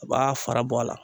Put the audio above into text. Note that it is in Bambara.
U b'a fara bɔ a la.